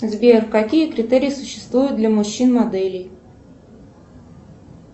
сбер какие критерии существуют для мужчин моделей